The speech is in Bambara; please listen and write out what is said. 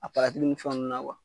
A ni fɛn ninnu na